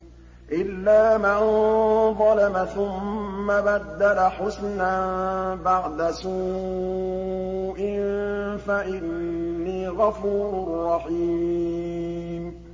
إِلَّا مَن ظَلَمَ ثُمَّ بَدَّلَ حُسْنًا بَعْدَ سُوءٍ فَإِنِّي غَفُورٌ رَّحِيمٌ